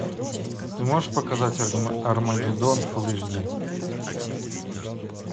ты можешь показать армагеддон фулл эйч ди